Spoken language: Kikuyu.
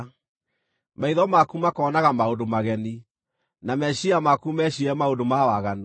Maitho maku makoonaga maũndũ mageni, na meciiria maku meciirie maũndũ ma waganu.